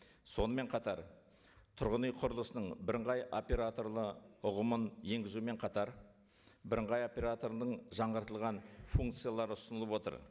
сонымен қатар тұрғын үй құрылысының бірыңғай оператор ұғымын енгізумен қатар бірыңғай операторының жаңартылған функциялары ұсынылып отыр